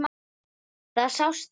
Það sást yfir